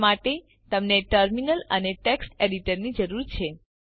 તે માટે તમને ટર્મિનલ અને ટેક્સ્ટ એડિટર ની જરૂર છે